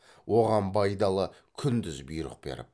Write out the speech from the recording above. оған байдалы күндіз бұйрық беріп